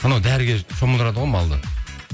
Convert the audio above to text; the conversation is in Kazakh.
анау дәріге шомылдырады ғой малды